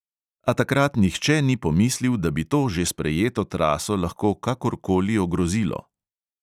A takrat nihče ni pomislil, da bi to že sprejeto traso lahko kakor koli ogrozilo.